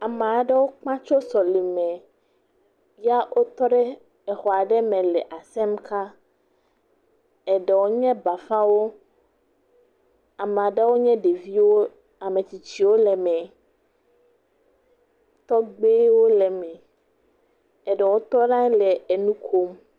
Ame aɖewo kpa tso sɔleme, ya wotɔ ɖe exɔ aɖe me le asem ka, eɖewo nye bafawo, eɖewo nye ɖeviwo, ametsitsiwo le me, tɔgbewo le me, eɖewo tɔ ɖe anyi le enu kom.